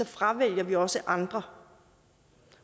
fravælger vi også nogle andre